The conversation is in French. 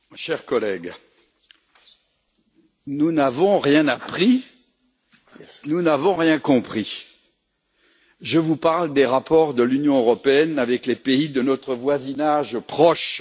Monsieur le Président, mes chers collègues, nous n'avons rien appris, nous n'avons rien compris. Je vous parle des rapports de l'Union européenne avec les pays de notre voisinage proche.